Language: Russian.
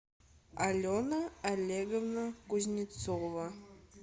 алена олеговна кузнецова